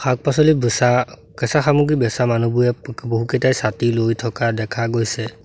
শাক-পাচলি বেছা কেঁচা সামগ্ৰী বেছা মানুহবোৰে ব বহুকেইটাই ছাতি লৈ থকা দেখা গৈছে।